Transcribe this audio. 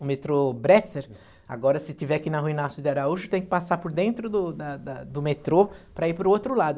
O metrô Bresser, agora se tiver que ir na rua Inácio de Araújo, tem que passar por dentro do da da do metrô para ir para o outro lado.